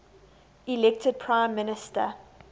elected prime minister